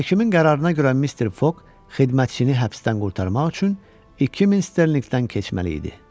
Hakimin qərarına görə Mister Foq xidmətçini həbsdən qurtarmaq üçün 2000 sterlinqdən keçməli idi.